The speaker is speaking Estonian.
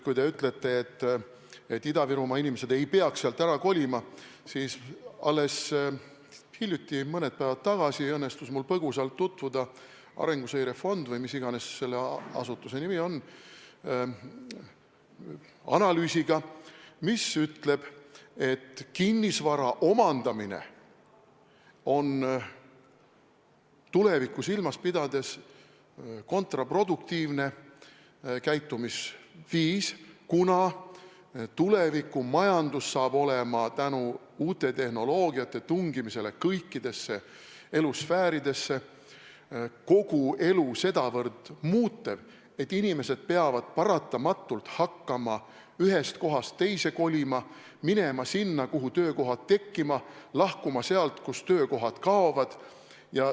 Kui te ütlete, et Ida-Virumaa inimesed ei peaks sealt ära kolima, siis alles hiljuti, mõned päevad tagasi õnnestus mul põgusalt tutvuda arenguseire fondi – või mis iganes selle asutuse nimi on – analüüsiga, mis ütleb, et kinnisvara omandamine on tulevikku silmas pidades kontraproduktiivne käitumisviis, kuna tulevikumajandus saab olema tänu uute tehnoloogiate tungimisele kõikidesse elusfääridesse kogu elu sedavõrd muutev, et inimesed peavad paratamatult hakkama ühest kohast teise kolima, minema sinna, kuhu töökohad tekkivad, ja lahkuma sealt, kust töökohad kaovad.